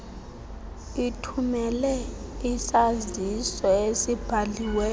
ithumele isaziso esibhaliweyo